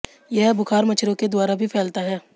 यह बुखार मच्छरों के द्वारा भी फैलता है